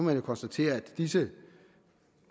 vi konstatere at disse